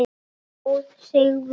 Marta stóð sig vel.